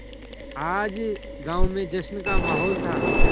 आज गाँव में जश्न का माहौल था